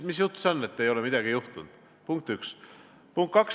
Mis jutt see on, et ei ole midagi juhtunud?!